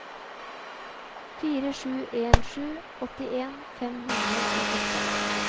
fire sju en sju åttien fem hundre og åtte